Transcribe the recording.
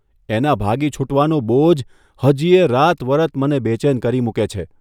એના ભાગી છૂટવાનો બોજ હજીયે રાતવરત મને બેચેન કરી મૂકે છે.